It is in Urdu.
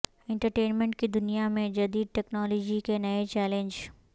انٹرٹینمنٹ کی دنیا میں جدید ٹیکنالوجی کے نئے چیلنج